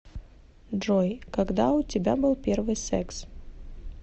джой когда у тебя был первый секс